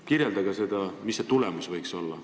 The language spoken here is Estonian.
Kirjeldage, milline võiks see tulemus olla.